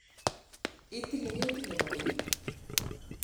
itile ketit ne bo keny?